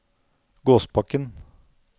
Gåsbakken